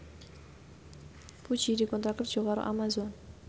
Puji dikontrak kerja karo Amazon